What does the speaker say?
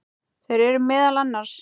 Þeir eru meðal annars